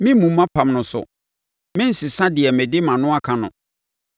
Meremmu mʼapam no so na merensesa deɛ mede mʼano aka no.